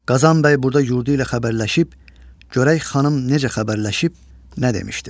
Qazan bəy burda yurdu ilə xəbərləşib, görək Xanım necə xəbərləşib, nə demişdir.